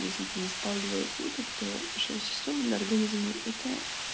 если ты не спал двое суток то шесть часов для организма это